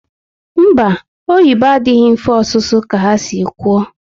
Mba, oyibo adịghị mfe ọsụsu ka ha si kwu